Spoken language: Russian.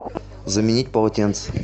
заменить полотенца